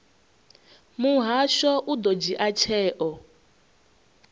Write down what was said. muhasho u ḓo dzhia tsheo